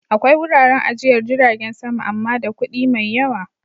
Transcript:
Akwai wuraren ajiyar jiragen sama amma da kuɗi mai yawa